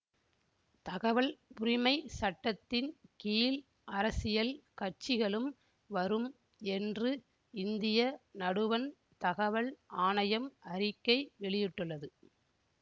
தகவல் உரிமை சட்டத்தின் கீழ் அரசியல் கட்சிகளும் வரும் என்று இந்திய நடுவண் தகவல் ஆணையம் அறிக்கை வெளியிட்டுள்ளது